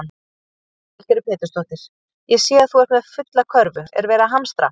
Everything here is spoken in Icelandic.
Lillý Valgerður Pétursdóttir: Ég sé að þú ert með fulla körfu, er verið að hamstra?